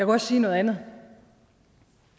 også sige noget andet